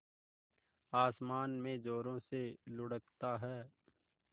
आसमान में ज़ोरों से लुढ़कता है